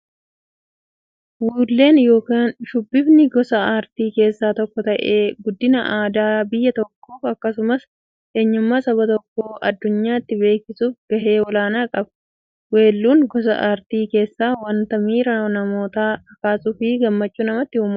Weelluun yookin shubbifni gosa aartii keessaa tokko ta'ee, guddina aadaa biyya tokkoof akkasumas eenyummaa saba tokkoo addunyyaatti beeksisuuf gahee olaanaa qaba. Weelluun gosa artii keessaa wanta miira namootaa kakaasuufi gammachuu namatti uummudha.